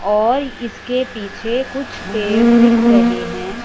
और इसके पीछे कुछ पेड़ दिख रहे हैं।